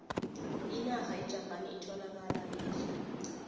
inarha yejapani etholakala e asia